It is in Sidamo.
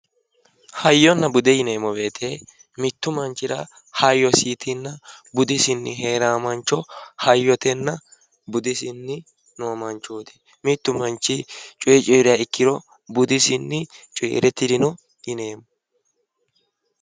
Hayyonna bude yineemmo woyiite mittu manchira hayyoosiitinna budisii heeraa mancho hayyotenna budisii noo manchooti. mittu manchi coyee cooyiiriha ikkiro budisinni cooyiire tirino yineemmo.